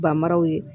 Banmaraw ye